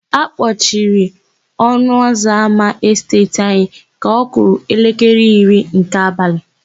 A kpọciri ọnụụzọámá Esteeti anyị ka ọ kụrụ elekere iri nke abalị.